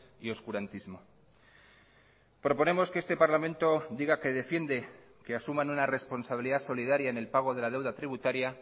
y oscurantismo proponemos que este parlamento diga que defiende que asuman una responsabilidad solidaria en el pago de la deuda tributaria